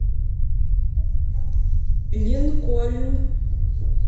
линкольн